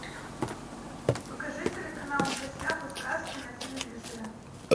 покажи телеканал в гостях у сказки на телевизоре